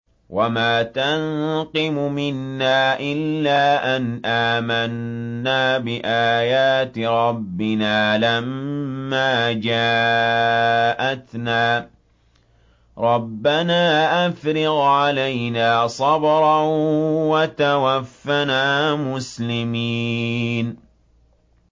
وَمَا تَنقِمُ مِنَّا إِلَّا أَنْ آمَنَّا بِآيَاتِ رَبِّنَا لَمَّا جَاءَتْنَا ۚ رَبَّنَا أَفْرِغْ عَلَيْنَا صَبْرًا وَتَوَفَّنَا مُسْلِمِينَ